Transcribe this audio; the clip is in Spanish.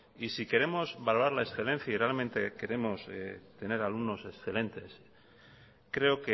y si queremos valorar la excedencia y realmente queremos tener alumnos excelentes creo